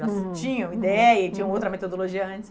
Já tinham ideia e tinham outra metodologia antes.